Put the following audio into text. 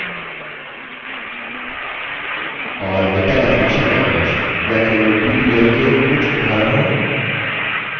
और data definition language या केवल ddl के कुछ उदाहरण हैं: